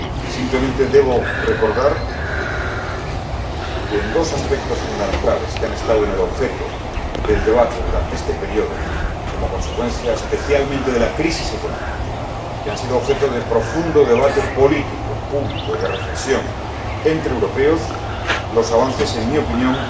Simplemente debo recordar que, en dos aspectos fundamentales, que han estado en el objeto del debate durante este período, como consecuencia especialmente de la crisis económica, que han sido objeto de profundo debate político, público y de reflexión entre europeos, los avances, en mi opinión,